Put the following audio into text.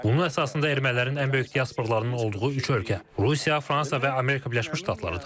Bunun əsasında ermənilərin ən böyük diasporalarının olduğu üç ölkə, Rusiya, Fransa və Amerika Birləşmiş Ştatları dayanır.